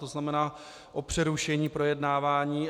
To znamená o přerušení projednávání.